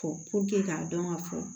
Fɔ k'a dɔn ka fɔ